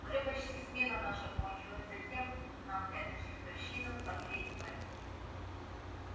уже почти смена наша кончилась затем нам эта чертовщина в последний момент